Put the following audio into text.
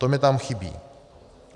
To mi tam chybí.